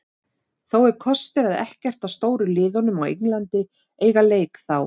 Þó er kostur að ekkert af stóru liðunum á Englandi eiga leik þá.